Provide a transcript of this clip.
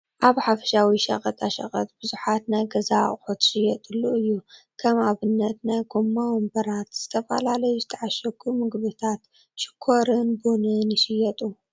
ኣብ ሓፈሻዊ ሸቐጣሸቐጥ ብዙሓት ናይ ገዛ ኣቑሑት ዝሽየጥሉ እዩ፡፡ ከም ኣብነት ናይ ጎማ ወንበራት፣ ዝተፈላለዩ ዝተዓሸጉ ምግብታት፣ ሽኮርን ቡን ይሽየጡ፡፡